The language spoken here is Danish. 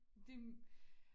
De